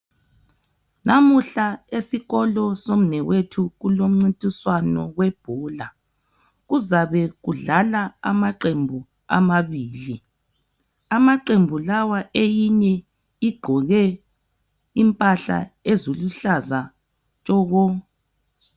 Namuhla esikolo somnewethu kulomncintiswano webhola kuzabe kudlala amaqembu amabili amaqembu lawa eyinye igqoke impahla eziluhlaza tshoko.